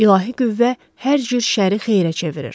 İlahi qüvvə hər cür şəri xeyrə çevirir.